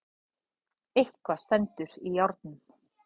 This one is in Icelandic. Eitthvað stendur í járnum